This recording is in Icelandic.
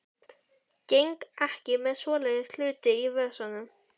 Geng ekki með svoleiðis hluti í vösunum.